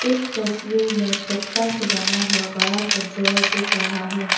इस तस्वीर में टोकता से बना हुआ बड़ा सा डोर दिख रहा है।